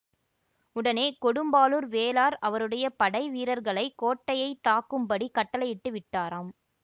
உடனே கொடும்பாளூர் வேளார் அவருடைய படை வீரர்களை கோட்டையை தாக்கும்படிக் கட்டளையிட்டு விட்டாராம்